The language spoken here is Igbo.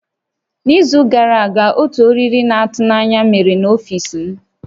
N'izu gara aga, otu oriri na-atụ n'anya mere n'ọfiisi m